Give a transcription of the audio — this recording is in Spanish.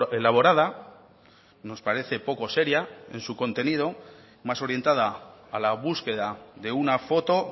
elaborada nos parece poco seria en su contenido más orientada a la búsqueda de una foto